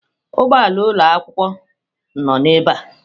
Ụgbọ ala ụlọ akwụkwọ noo ebe a.